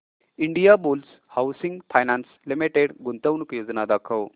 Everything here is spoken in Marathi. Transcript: इंडियाबुल्स हाऊसिंग फायनान्स लिमिटेड गुंतवणूक योजना दाखव